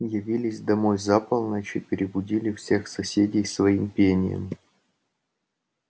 явились домой за полночь и перебудили всех соседей своим пением